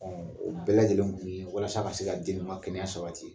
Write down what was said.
Ɔ o bɛɛ lajɛlen kun ye mun ye, walasa ka se ka den ninnu ka kɛnɛya sabati.